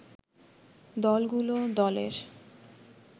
দলগুলো দলের